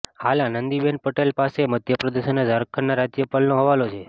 હાલ આનંદીબહેન પટેલ પાસે મધ્યપ્રદેશ અને ઝારખંડના રાજ્યપાલનો હવાલો છે